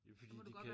Ja fordi de kan ik